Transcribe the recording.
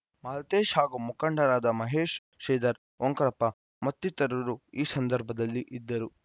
ಮಾಲತೇಶ್‌ ಹಾಗೂ ಮುಖಂಡರಾದ ಮಹೇಶ್‌ ಶ್ರೀಧರ್‌ ಓಂಕಾರಪ್ಪ ಮತ್ತಿತರರು ಈ ಸಂದರ್ಭದಲ್ಲಿ ಇದ್ದರು